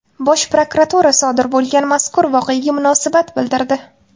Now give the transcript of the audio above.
Bosh prokuratura sodir bo‘lgan mazkur voqeaga munosabat bildirdi.